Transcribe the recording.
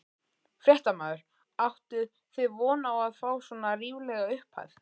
Fréttamaður: Áttuð þið von á að fá svona ríflega upphæð?